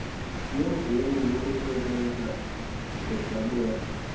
yeemvume zokusebenza ngezabelo